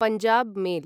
Punjab mail